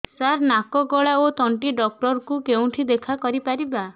ସାର ନାକ ଗଳା ଓ ତଣ୍ଟି ଡକ୍ଟର ଙ୍କୁ କେଉଁଠି ଦେଖା କରିପାରିବା